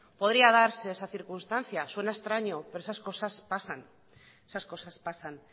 podría darse esa circunstancia suena extraño pero esas cosas pasan